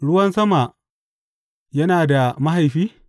Ruwan sama yana da mahaifi?